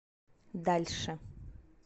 дальше